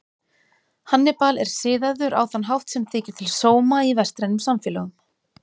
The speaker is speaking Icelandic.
Hannibal er siðaður á þann hátt sem þykir til sóma í vestrænum samfélögum.